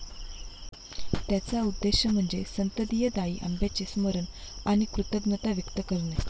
त्याचा उद्देश म्हणजे संततीदायी आंब्याचे स्मरण आणि कृतज्ञता व्यक्त करणे.